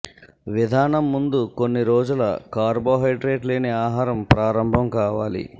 విధానం ముందు కొన్ని రోజుల కార్బోహైడ్రేట్ లేని ఆహారం ప్రారంభం కావాలి